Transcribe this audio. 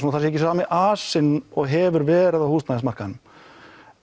það sé ekki sami asi og hefur verið á húsnæðismarkaðnum